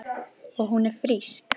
Og hún er frísk.